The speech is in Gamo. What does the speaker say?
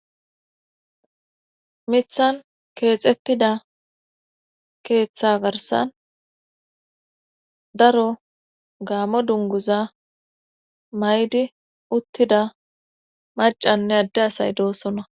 mithan keexettida keeththa garsan daro gaamo dunguza maydi uttida macanne adde asay doosona